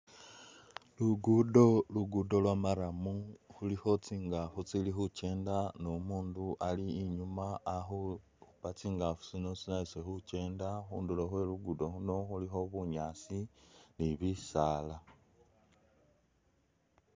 Lugudo, lugudo lwa marrum khulikho tsingafu tsili khukyenda ni umundu ali inyuma akhuupa tsingafu tsino tsinyalise khukyenda ,khundulo khwe lugudo luno khulikho bunyaasi ni bisaala